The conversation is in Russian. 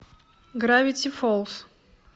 гравити фолз